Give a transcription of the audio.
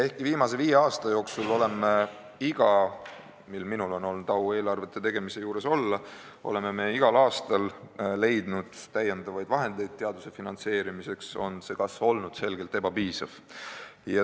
Kuigi viimase viie aasta jooksul oleme igal aastal, mil minul on olnud au eelarvete tegemise juures olla, leidnud lisavahendeid teaduse finantseerimiseks, on see kasv olnud selgelt ebapiisav.